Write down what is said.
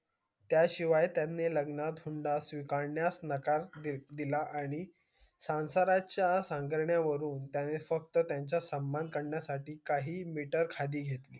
त्या शिवाय त्यानी लग्नात हुंडा स्वीकारण्यास नकार दिला आणि संसाराच्या हंबरड्या वरून त्यानी फक्त त्याचा समान करण्या साठी काही खाली घेतली